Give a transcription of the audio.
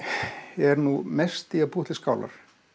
er mest í því að búa til skálar